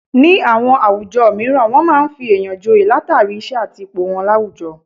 Ní àwọn àwùjọ mìíràn wọn máa ń fi èèyàn joye látàrí, iṣẹ́ àti ipò wọn láwùjọ